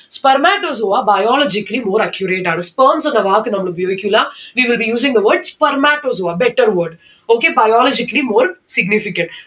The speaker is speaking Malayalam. spermatozoa biologically more accurate ആണ്. sperms എന്ന വാക്ക് നമ്മൾ ഉപയോഗിക്കില്ല. we will be using the word spermatozoa. better word. okay. biologically more significant